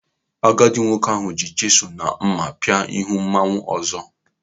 Agadi nwoke ahụ ji chisụlụ na mma pị́a ihu mmanwu ọzọ.